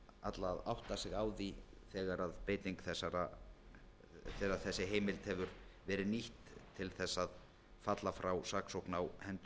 alla að átta sig á því þegar þessi heimild hefur verið nýtt til þess að falla frá saksókn á hendur